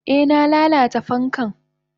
Eh na lalata fankan.